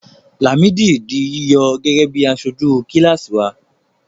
Làmídì di yíyọ gẹ́gẹ́ bí aṣojú kíláàsì náà.